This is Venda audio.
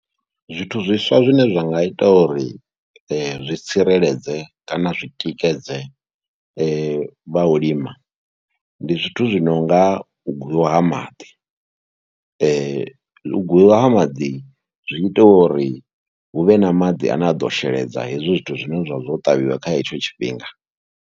Zwithu zwiswa zwine zwa nga ita uri zwi tsireledze kana zwi tikedze vha u lima, ndi zwithu zwi no nga u gwiwa ha maḓi. U gwiwa ha maḓi zwi ita uri hu vhe na maḓi ane a ḓo sheledza hezwi zwithu zwine zwa vha zwo ṱavhiwa kha hetsho tshifhinga.